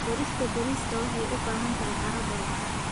Beerista bariiska waxay u baahan tahay carro dhoobo ah.